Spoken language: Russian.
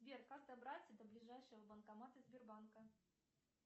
сбер как добраться до ближайшего банкомата сбербанка